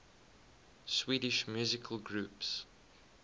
swedish musical groups